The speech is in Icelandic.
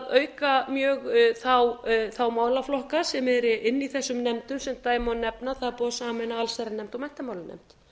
auka mjög þá málaflokka sem eru inni í þessum nefndum sem dæmi má nefna að það er búið að sameina allsherjarnefnd og menntamálanefnd